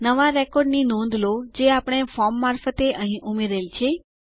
નવા રેકોર્ડ ની નોંધ લો જે આપણે ફોર્મ મારફતે અહીં ઉમેરેલ છે